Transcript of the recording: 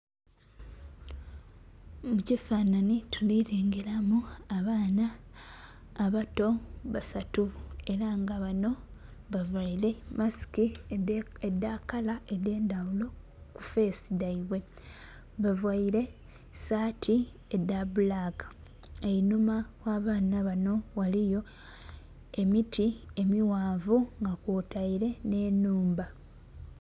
Mu kifanhanhi tulilengeramu abaana abato basatu ela nga banho bavaile masiki edha kala edhendhaghulo ku feesi dhaibwe. Bavaile saati edha bbulaka. Einhuma gh'abaana banho ghaliyo emiti emighanvu nga kwotaile nh'ennhumba.